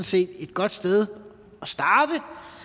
set et godt sted at starte